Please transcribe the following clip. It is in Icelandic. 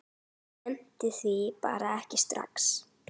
Nennti því bara ekki strax.